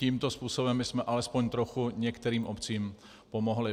Tímto způsobem bychom alespoň trochu některým obcím pomohli.